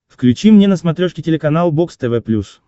включи мне на смотрешке телеканал бокс тв плюс